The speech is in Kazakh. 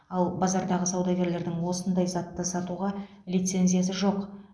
ал базардағы саудагерлердің осындай затты сатуға лицензиясы жоқ